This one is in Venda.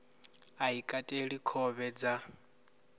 a i kateli khovhe dza